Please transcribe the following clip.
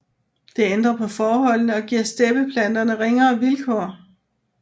Det ændrer på forholdene og giver steppeplanterne ringere vilkår